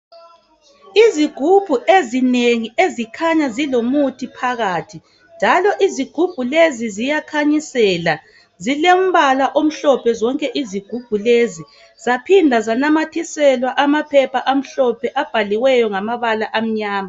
izigubhu ezinengi ezikhanya zilomuthi phakathi njalo izigubhu lezi ziyakhanyisela zilombala omhlophe zonke izigubhu lezi zaphinda zanamathiselwa amaphepha amhlophe abhaliweyo ngamabala amnyama